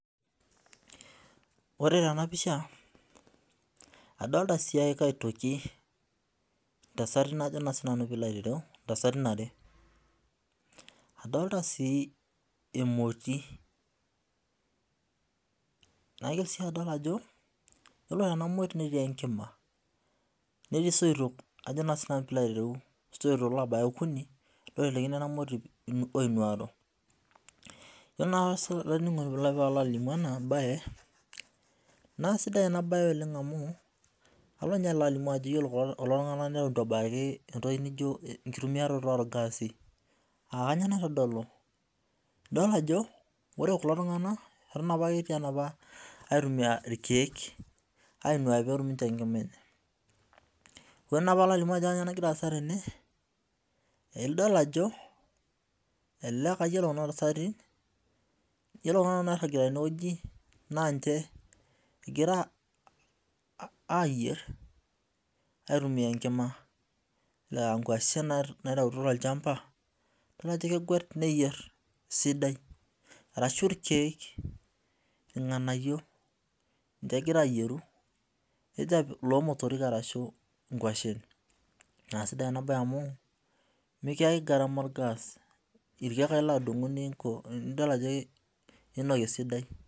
Ore tena pisha, adolita siake aitoki ntasati najo naa sii nanu piilo aitereu, intasatin are. Adolita sii emoti, naitoki sii adol ajo iyolo ena emoti netii enkima, netii soito ajo naa sii nanu piilo aitereu soito loobaya okuni loitelekino ena emoti oinuaro. Iyiolo naa sii piilo aininingu enabaye, naa esidai ena baye oleng amuu, alo ninye alimu ajo iyolo kulo tungana neton ebaki entoki nijo enkitumiaroto ongaasi, aa kainyio neitadolu, idol ajo ore kulo tungana eton apake etii enopa aitumiya irkiek ainuaki olmita enkima enye. Ewen alo alimu ajo kanyiio nagira aasa tene, nidol ajo ale ilpayen okuna intasati. Iyolo naa ana toki tenewueji naa naa ninche egira aayier aitumiya enkima, aankoshen naitaitwo tolchamba, idol ajo kegwet neyier sidai arashu irkiek, ilnganaiyo ninche egira eyieru, nejo apik loolmotorik arashu inguashen. Naa esidai enabaye amu mikiyaki engarama orgaas, irkiek ake ilo adumu ninko, nidol ajo enosie esidai.